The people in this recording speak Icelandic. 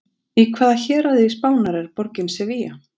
Í hvaða héraði Spánar er borgin Sevilla?